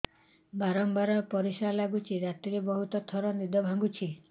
ବାରମ୍ବାର ପରିଶ୍ରା ଲାଗୁଚି ରାତିରେ ବହୁତ ଥର ନିଦ ଭାଙ୍ଗୁଛି